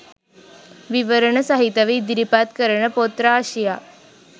විවරණ සහිතව ඉදිරිපත් කරන පොත් රාශියක්